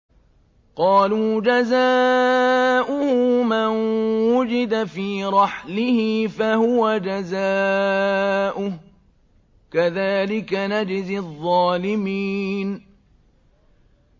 قَالُوا جَزَاؤُهُ مَن وُجِدَ فِي رَحْلِهِ فَهُوَ جَزَاؤُهُ ۚ كَذَٰلِكَ نَجْزِي الظَّالِمِينَ